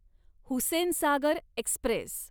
Hussainsagar Express